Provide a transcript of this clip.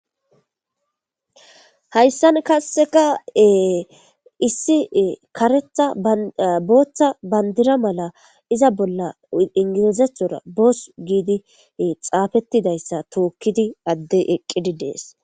Hayssan kasseka issi karetha booththa bandira mala iza bolla ingilizethora boos giidi xaafettidayssa tookkidi addey eqqidi dees.